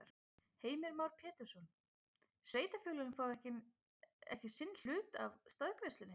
Heimir Már Pétursson: Sveitarfélögin fá ekki sinn hlut af staðgreiðslunni?